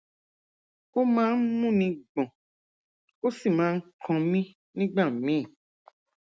ó máa ń múni gbọn ó sì máa ń kan mí nígbà míì